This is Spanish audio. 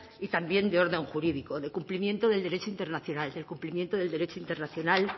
y también de orden jurídico de cumplimiento del derecho internacional del cumplimiento del derecho internacional